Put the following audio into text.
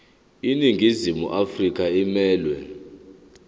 iningizimu afrika emelwe